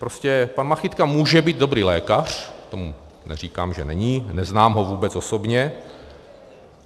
Prostě pan Machytka může být dobrý lékař, to neříkám, že není, neznám ho vůbec osobně.